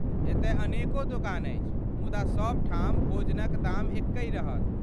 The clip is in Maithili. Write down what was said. एतय अनेको दोकान अछि, मुदा सभ ठाम भोजनक दाम एक्कहि रहत।